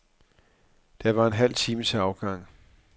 Der var en halv time til afgang.